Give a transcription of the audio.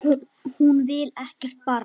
Hún vill ekkert barn.